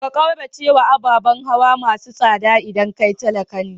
Ka kauracewa ababan hawa masu tsada idan kai talaka ne.